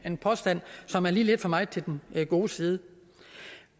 en påstand som er lidt for meget til den gode side